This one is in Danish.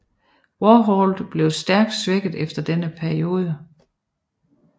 Warhol blev stærkt svækket efter denne episode